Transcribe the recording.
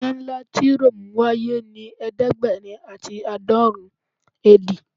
Ina nla ti Rome waye ni ẹdẹgbẹrin ati aadọrin AD